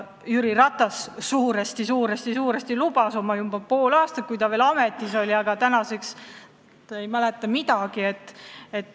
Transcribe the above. Jüri Ratas lubas seda juba oma pool aastat tagasi, aga tänaseks ta ei mäleta midagi.